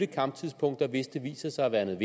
kamptidspunkter hvis det viser sig at være